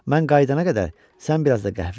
Mən qayıdana qədər sən biraz da qəhvə iç.